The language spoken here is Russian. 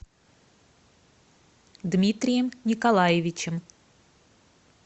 дмитрием николаевичем